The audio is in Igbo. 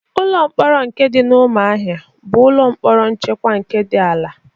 Ụlọ mkpọrọ nke dị n'Ụmụahịa bụ ụlọ mkpọrọ nchekwa nke dị ala.